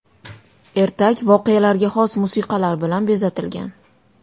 Ertak voqealarga xos musiqalar bilan bezatilgan.